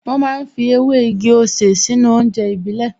Wọ́n ma ń fi ewé igi-osè sínú oúnjẹ ìbílẹ̀